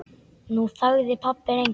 Nú þagði pabbi lengi.